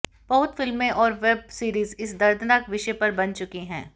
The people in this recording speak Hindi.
बहुत फिल्में और वेब सीरीज इस दर्दनाक विषय पर बन चुकी हैं